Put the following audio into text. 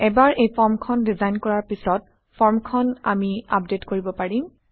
এবাৰ এই ফৰ্মখন ডিজাইন কৰাৰ পিছত ফৰ্মখন আমি আপডেট কৰিব পাৰিম